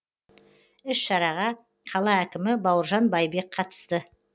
іс шараға қала әкімі бауыржан байбек қатысты